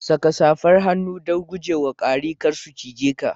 Saka safar hannu don guje wa kwari kar su cize ka.